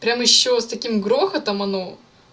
прямо ещё с таким грохотом оно